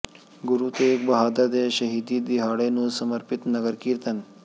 ਗੁਰੂ ਤੇਗ ਬਹਾਦਰ ਦੇ ਸ਼ਹੀਦੀ ਦਿਹਾੜੇ ਨੂੰ ਸਮਰਪਿਤ ਨਗਰ ਕੀਤਰਨ